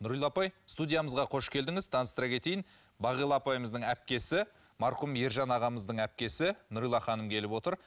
нұрила апай студиямызға қош келдіңіз таныстыра кетейін бағила апайымыздың әпкесі марқұм ержан ағамыздың әпкесі нұрила ханым келіп отыр